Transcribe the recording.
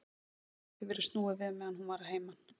Dæminu hafði því verið snúið við meðan hún var að heiman.